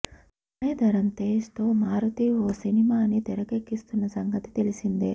సాయిధరమ్ తేజ్ తో మారుతి ఓ సినిమాని తెరకెక్కిస్తున్న సంగతి తెలిసిందే